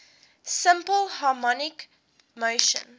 simple harmonic motion